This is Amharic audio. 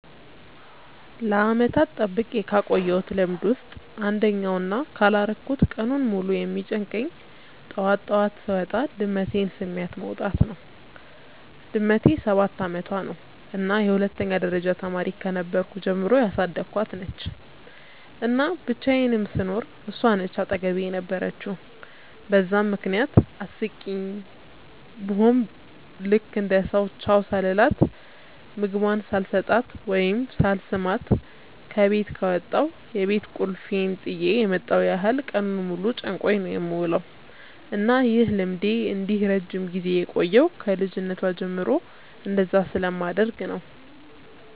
ለዓመታት ጠብቄ ካቆየውት ልምድ ውስጥ አንደኛው እና ካላረኩት ቀኑን ሙሉ የሚጨንቀኝ ጠዋት ጠዋት ስወጣ ድመቴን ስሚያት መውጣት ነው። ድመቴ ሰባት አመቷ ነው እና የሁለተኛ ደረጃ ተማሪ ከነበርኩ ጀምሮ ያሳደኳት ነች፤ እና ብቻየንም ስኖር እሷ ነች አጠገቤ የነበረችው በዛም ምክንያት አስቂኝ ቡሆም ልክ እንደ ሰው ቻው ሳልላት፣ ምግቧን ሳልሰጣት ወይም ሳልስማት ከበት ከወጣው የቤት ቁልፌን ጥየ የመጣው ያህል ቀኑን ሙሉ ጨንቆኝ ነው የምውለው። እና ይህ ልምዴ እንዲህ ረጅም ጊዜ የቆየው ከ ልጅነቷ ጀምሮ እንደዛ ስለማደርግ ነው።